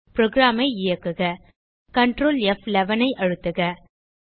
program ஐ இயக்குக control மற்றும் ப்11 ஐ அழுத்துக